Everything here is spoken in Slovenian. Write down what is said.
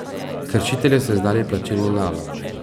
Kršitelju so izdali plačilni nalog.